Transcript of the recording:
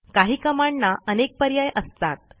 काही Commandना अनेक पर्याय असतात